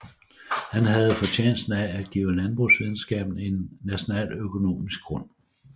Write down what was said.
Han havde fortjenesten af at give landbrugsvidenskaben en nationaløkonomisk grund